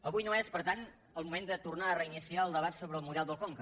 avui no és per tant el moment de tornar a reiniciar el debat sobre el model del conca